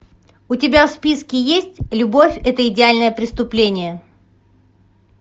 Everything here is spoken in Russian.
у тебя в списке есть любовь это идеальное преступление